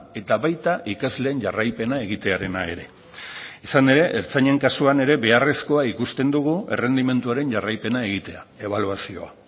eta baita ikasleen jarraipena egitearena ere izan ere ertzainen kasuan ere beharrezkoa ikusten dugu errendimenduaren jarraipena egitea ebaluazioa